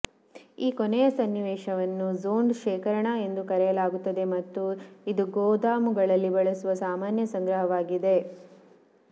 ಈ ಕೊನೆಯ ಸನ್ನಿವೇಶವನ್ನು ಝೊನ್ಡ್ ಶೇಖರಣಾ ಎಂದು ಕರೆಯಲಾಗುತ್ತದೆ ಮತ್ತು ಇದು ಗೋದಾಮುಗಳಲ್ಲಿ ಬಳಸುವ ಸಾಮಾನ್ಯ ಸಂಗ್ರಹವಾಗಿದೆ